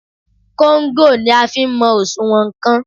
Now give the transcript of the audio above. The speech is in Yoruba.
Kóńgò ni a fi ń mọ òṣùwọ̀n nnkan.